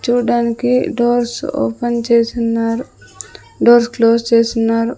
చూడ్డానికి doors open చేసున్నారు doors close చేసున్నారు.